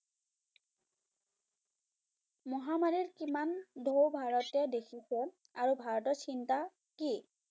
মহামাৰীৰ কিমান ঢৌ ভাৰতে দেখিছে আৰু ভাৰতৰ চিন্তা কি?